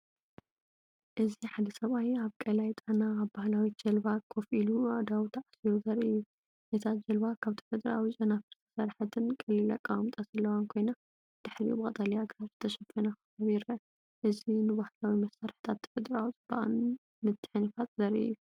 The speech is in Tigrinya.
እዚ ሓደ ሰብኣይ ኣብ ቀላይ ጣና ኣብ ባህላዊት ጃልባ ኮፍ ኢሉ ኣእዳዉ ተኣሲሩ ዘርኢ እዩ። እታ ጃልባ ካብ ተፈጥሮኣዊ ጨናፍር ዝተሰርሐትን ቀሊል ኣቀማምጣ ዘለዋን ኮይና፡ድሕሪኡ ብቀጠልያ ኣግራብ ዝተሸፈነከባቢ ይርአ። እዚ ንባህላዊ መሳርሕታትን ተፈጥሮኣዊ ጽባቐን ምትሕንፋጽ ዘርኢ እዩ።